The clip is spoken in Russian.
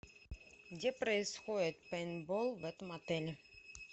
где происходит пейнтбол в этом отеле